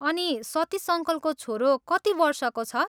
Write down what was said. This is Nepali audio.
अनि, सतिस अङ्कलको छोरो कति वर्षको छ?